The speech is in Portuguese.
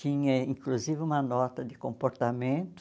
Tinha, inclusive, uma nota de comportamento.